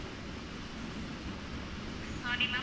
sorry ma'am